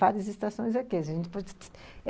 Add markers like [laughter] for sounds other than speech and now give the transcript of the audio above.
Várias estações aqui [unintelligible]